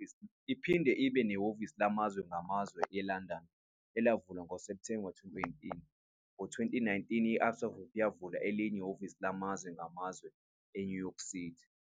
Iphinde ibe nehhovisi lamazwe ngamazwe eLondon, elavulwa ngoSepthemba 2018. Ngo-2019, i-Absa Group yavula elinye ihhovisi lamazwe ngamazwe eNew York City.